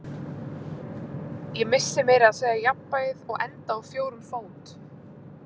Ég missi meira að segja jafnvægið og enda á fjórum fót